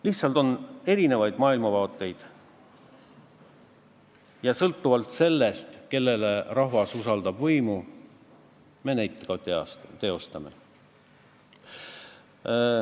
Lihtsalt maailmavaated on erinevad ja sõltuvalt sellest, kellele rahvas usaldab võimu, me neid ka teostame.